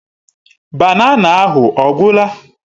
Banana ahụ ọ gwụla?